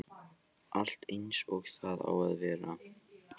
Allt eins og það á að vera